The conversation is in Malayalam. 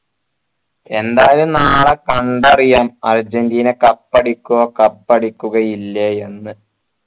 എന്തായാലും നാളെ കണ്ടറിയാം അർജൻറീന cup അടിക്കുവോ cup അടിക്കുകയില്ലേ എന്ന്